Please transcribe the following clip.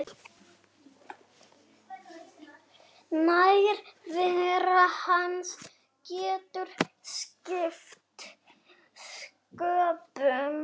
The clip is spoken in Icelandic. Nærvera hans getur skipt sköpum.